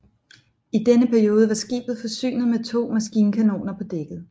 I denne periode var skibet forsynet med to maskinkanoner på dækket